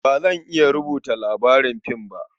Ba zan iya rubuta labarin fim ba.